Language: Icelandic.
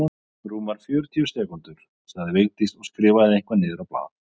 Rúmar fjörutíu sekúndur sagði Vigdís og skrifaði eitthvað niður á blað.